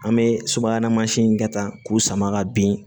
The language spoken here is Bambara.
An bɛ subahana in kɛ tan k'u sama ka bin